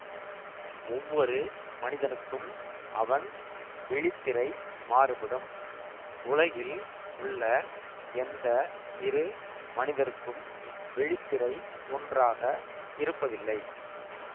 ஒவ்வொரு மனிதனுக்கும் அவன் விழித்திரை மாறுபடும் உலகில் உள்ள எந்த இரு மனிதருக்கும் விழித்திரை ஒன்றாக இருப்பதில்லை